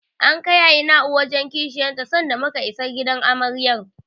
An kai Aina'u wajen Kishiyar ta sanda muka isa gidan Amaryar.